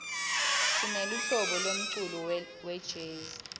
sineluhlobo lemculo welezi